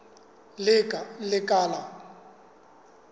lekala